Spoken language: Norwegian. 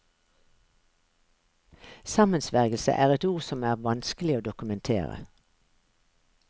Sammensvergelse er et ord som er vanskelig å dokumentere.